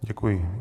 Děkuji.